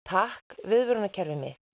takk viðvörunarkerfið mitt